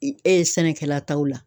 E ye sɛnɛkɛla t'aw la